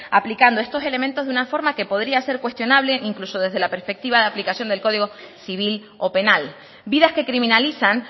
aplicando estos elementos de una forma que podría ser cuestionable incluso desde la perspectiva de aplicación del código civil o penal vidas que criminalizan